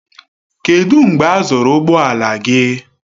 Kedụ mgbe e zụrụ ụgbọ ala gị?